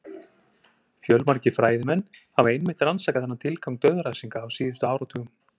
Fjölmargir fræðimenn hafa einmitt rannsakað þennan tilgang dauðarefsinga á síðustu áratugum.